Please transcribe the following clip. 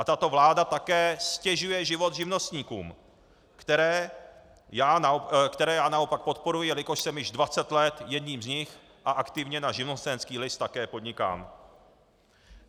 A tato vláda také ztěžuje život živnostníkům, které já naopak podporuji, jelikož jsem již 20 let jedním z nich a aktivně na živnostenský list také podnikám.